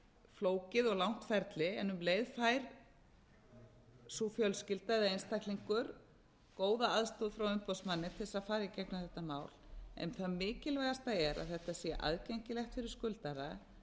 flókið og langt ferli en um leið fær sú fjölskylda eða einstaklingur góða aðstoð frá umboðsmanni til þess að fara í gegnum þetta mál en það mikilvægasta er að þetta sé aðgengilegt fyrir skuldara